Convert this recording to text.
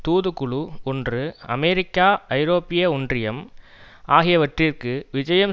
தூதுக்குழு ஒன்று அமெரிக்கா ஐரோப்பிய ஒன்றியம் ஆகியவற்றிற்கு விஜயம்